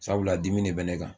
Sabula dimi de bɛ ne kan